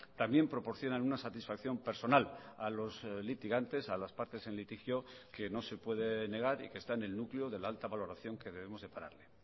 también proporcionan una satisfacción personal a los litigantes a las partes en litigio que no se puede negar y que está en el núcleo de la alta valoración que debemos depararle